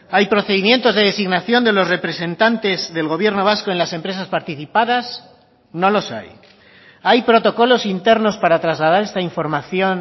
hay procedimientos de designación de los representantes del gobierno vasco en las empresas participadas no los hay hay protocolos internos para trasladar esta información